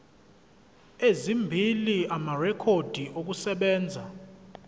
ezimbili amarekhodi okusebenza